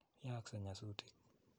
Yaakse nyasutik.